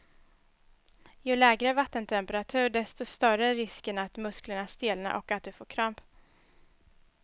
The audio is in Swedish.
Ju lägre vattentemperatur, desto större är risken att musklerna stelnar och att du får kramp.